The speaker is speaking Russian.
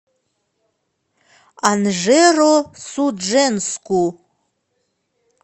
анжеро судженску